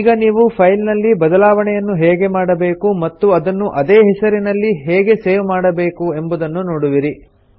ಈಗ ನೀವು ಫೈಲ್ ನಲ್ಲಿ ಬದಲಾವಣೆಯನ್ನು ಹೇಗೆ ಮಾಡಬೇಕು ಮತ್ತು ಅದನ್ನು ಅದೇ ಹೆಸರಿನಲ್ಲಿ ಹೇಗೆ ಸೇವ್ ಮಾಡಬೇಕೆಂಬುದನ್ನು ನೋಡುವಿರಿ